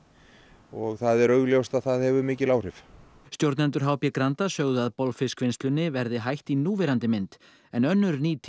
og það er augljóst að það hefur mikil áhrif stjórnendur h b Granda sögðu að bolfiskvinnslunni verði hætt í núverandi mynd en önnur nýting